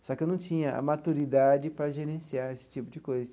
Só que eu não tinha a maturidade para gerenciar esse tipo de coisa.